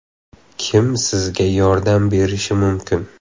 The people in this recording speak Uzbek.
Kim sizga yordam berishi mumkin?